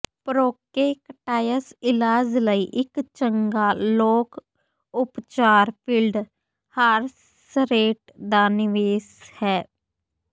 ਪ੍ਰੋਕੈਕਟਾਈਸ ਇਲਾਜ ਲਈ ਇੱਕ ਚੰਗਾ ਲੋਕ ਉਪਚਾਰ ਫੀਲਡ ਹਾਰਸਰੇਟ ਦਾ ਨਿਵੇਸ਼ ਹੈ